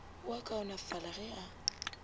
o a kaonafala ge a